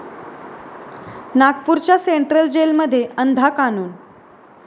नागपूरच्या सेंट्रल जेलमध्ये अंधा कानून!